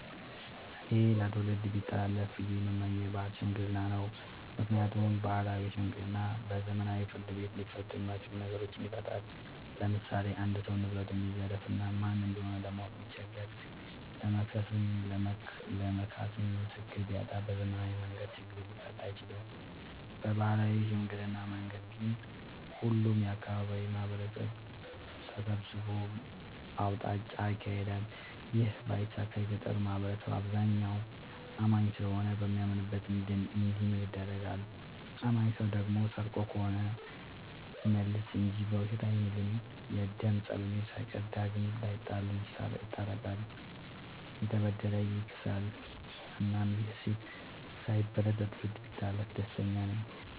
እኔ ለትውልድ ቢተላለፍ ብዬ የምመኘው የባህል ሽምግልና ነው። ምክንያቱም ባህላዊ ሽምግልና በዘመናዊ ፍርድ ቤት ሊፈቱ የማይችሉ ነገሮችን ይፈታል። ለምሳሌ አንድ ሰው ንብረቱን ቢዘረፍ እና ማን እንደሆነ ለማወቅ ቢቸገር ለመክሰስም ለመካስም ምስክር ቢያጣ በዘመናዊ መንገድ ችግሩ ሊፈታ አይችልም። በባህላዊ ሽምግልና መንገድ ግን ሁሉም የአካባቢው ማህበረሰብ ተሰብስቦ አውጣጭ ይካሄዳል ይህ ባይሳካ የገጠሩ ማህበረሰብ አብዛኛው አማኝ ስለሆነ በሚያምንበት እንዲምል ይደረጋል። አማኝ ሰው ደግሞ ሰርቆ ከሆነ ይመልሳ እንጂ በውሸት አይምልም። የደም ፀበኞችን ሳይቀር ዳግም ላይጣሉ ይስታርቃል፤ የተበደለ ያስክሳል እናም ይህ እሴት ሳይበረዝ ለትውልድ ቢተላለፍ ደስተኛ ነኝ።